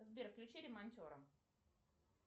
сбер включи ремонтера